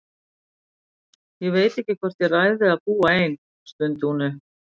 Ég veit ekki hvort ég ræð við að búa ein, stundi hún upp.